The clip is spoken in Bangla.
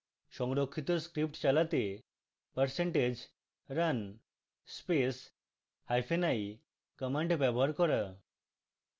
সংরক্ষিত script চালাতে percentage run space hyphen i command ব্যবহার করা